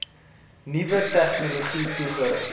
nuwe tegnologie toegerus